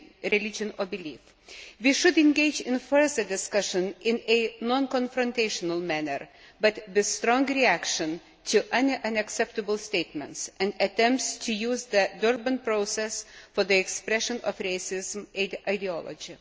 religion or belief. We should engage in further discussion in a non confrontational manner, but with a strong reaction to unacceptable statements and attempts to use the Durban process for the expression of racist ideology.